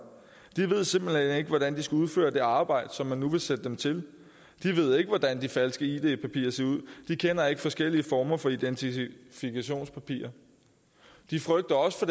de ved simpelt hen ikke hvordan de skal udføre det arbejde som man nu vil sætte dem til de ved ikke hvordan de falske id papirer ser ud de kender ikke forskellige former for identifikationspapirer de frygter også for